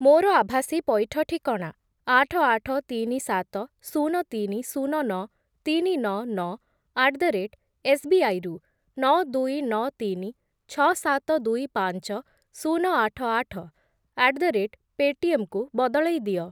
ମୋର ଆଭାସୀ ପଇଠ ଠିକଣା ଆଠ, ଆଠ, ତିନି, ସାତ, ଶୂନ, ତିନି, ଶୂନ, ନଅ, ତିନି, ନଅ, ନଅ ଆଟ୍ ଦ ରେଟ୍ ଏସ୍‌ବିଆଇ ରୁ ନଅ, ଦୁଇ, ନଅ, ତିନି, ଛଅ, ସାତ, ଦୁଇ, ପାଞ୍ଚ, ଶୂନ, ଆଠ, ଆଠ ଆଟ୍ ଦ ରେଟ୍ ପେଟିଏମ୍ କୁ ବଦଳେଇ ଦିଅ।